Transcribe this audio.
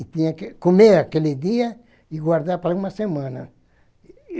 E tinha que comer aquele dia e guardar para uma semana.